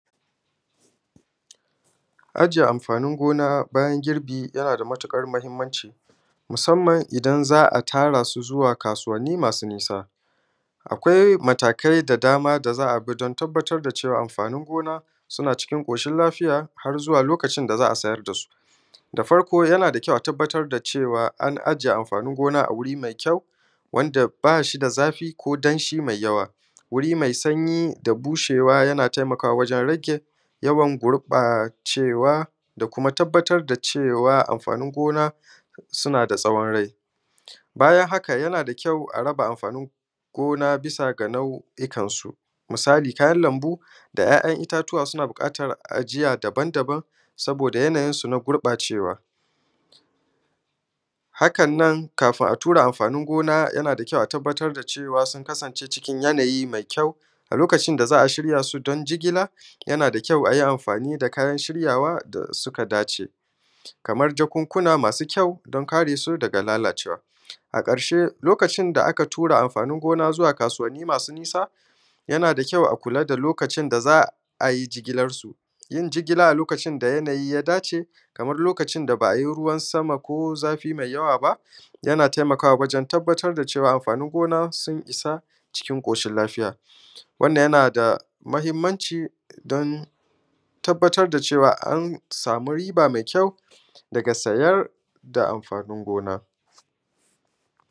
Aje amfanin gona bayan girɓi yana da matuƙar muhimmanci, musamman idan za a tara su zuwa kasuwanni masu nisa. Akwai matakai da za a bi da dama don tabbatar da cewa amfanin gona su na cikin ƙoshin lafiya har zuwa lokacin da za a siyar dasu. Da farko yana da kyau a tabbatar da cewa an aje amfanin gona a wuri mai kyau wanda bashi da zafi ko danshi mai yawa, mai sanyi da bushewa yana taimakawa wajen rage gurɓacewa da kuma tabbatar da cewa amfanin gona suna da tsawon rai. Bayan haka yana da kyau a raba amfanin gona zuwa ga nau’ikansu. Misali kayan lambu da ‘ya’yan itatuwa suna bukatar ajiya dabam dabam saboda yana yin su na gurɓacewa. Haka nan kafin a tura amfanin gona yana da kyau a tabbatar da cewa sun kasance cikin yana yi mai kyau, a lokacin da za a shiryasu don jigila, yana da kyau ayi amfani da kayan shiryawa da suka dace. Hamar jakunkuna masu kyau don kare su daga lalacewa. A ƙarshe lokacin da aka tura amfanin gona zuwa kasuwannin masu nisa yana da kyau a kula da lokacin da za a yi gijilarsu, don jigila a lokacin da ya dace, kamar lokacin da ba a yi ruwan sama ko zafi mai yawa ba yana taimakawa wajen tabbatar da cewa amfanin gona sun isa cikin ƙoshin lafiya, wannan yana da mahimmanci don tabbatar da cewa an samu riba mai kyau daga sayar da amfanin gona.